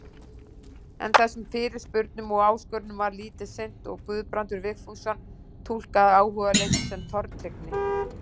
En þessum fyrirspurnum og áskorunum var lítið sinnt og Guðbrandur Vigfússon túlkaði áhugaleysið sem tortryggni: